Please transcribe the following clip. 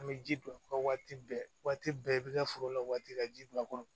An bɛ ji don u ka waati bɛɛ waati bɛɛ i bɛ taa foro la waati ka ji don a kɔrɔ